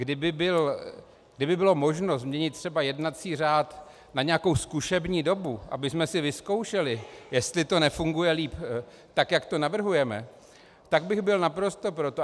Kdyby bylo možno změnit třeba jednací řád na nějakou zkušební dobu, abychom si vyzkoušeli, jestli to nefunguje líp tak, jak to navrhujeme, tak bych byl naprosto pro to.